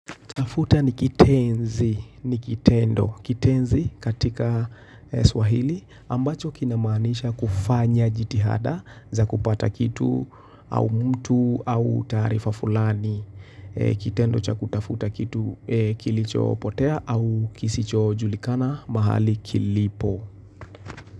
Tafuta ni kitenzi ni kitendo kitenzi katika Swahili ambacho kinamanisha kufanya jitihada za kupata kitu au mtu au tarifa fulani. Kitendo cha kutafuta kitu kilichopotea au kisicho julikana mahali kilipo.